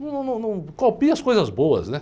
Num, num, não... Copie as coisas boas, né?